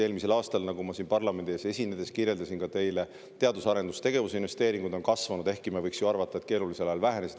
Eelmisel aastal, nagu ma siin parlamendi ees esinedes kirjeldasin ka teile: teadus- ja arendustegevuse investeeringud on kasvanud, ehkki me võiks ju arvata, et keerulisel ajal need vähenesid.